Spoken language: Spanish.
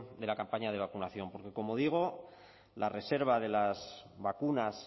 de la campaña de vacunación porque como digo la reserva de las vacunas